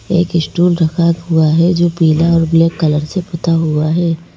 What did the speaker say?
एक स्टूल रखा हुआ है जो पीला और ब्लैक कलर से पुता हुआ है।